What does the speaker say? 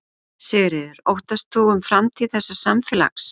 Sigríður: Þú óttast um framtíð þessa samfélags?